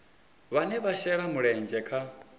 vhane vha shela mulenzhe kha